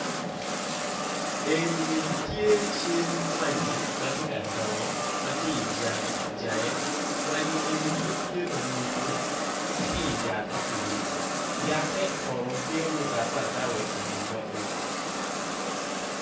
Eni tye cal mwanyi matye ka dongo matye ijange mwanyi eni pud tye manumu tye iyate pudi yate kono tye ma ogape agapa ikom luwotgi.